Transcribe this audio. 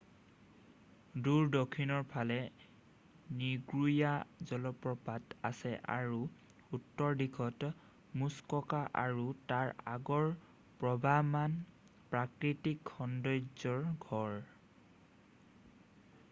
দূৰ দক্ষিণৰ ফালে নিগ্ৰোয়া জলপ্ৰপাত আছে আৰু উত্তৰ দিশত মুছককা আৰু তাৰ আগৰ প্ৰবাহমান প্ৰাকৃতিক সন্দৰ্য্যৰ ঘৰ